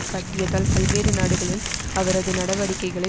காட்டியதால் பல்வேறு நாடுகளில் அவரது நடிவடிக்கைகளை